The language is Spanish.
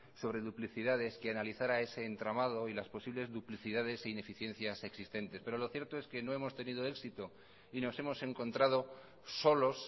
sobre duplicidades que analizara ese entramado y las posibles duplicidades e ineficiencias existentes pero lo cierto es que no hemos tenido éxito y nos hemos encontrado solos